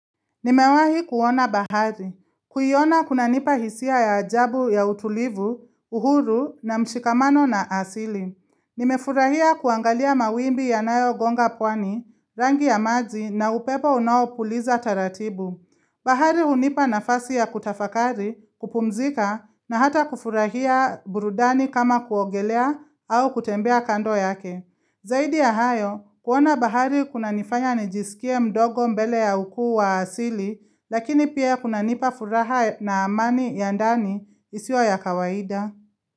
Nimewahi kuona bahari. Kuiona kunanipa hisia ya ajabu ya utulivu, uhuru na mshikamano na asili. Nimefurahia kuangalia mawimbi ya nayo gonga pwani, rangi ya maji na upepo unaopuliza taratibu. Bahari hunipa nafasi ya kutafakari, kupumzika na hata kufurahia burudani kama kuogelea au kutembea kando yake. Zaidi ya hayo, kuona bahari kuna nifanya nijisikie mdogo mbele ya ukuu wa asili, lakini pia kunanipa furaha na amani ya ndani isiyo ya kawaida.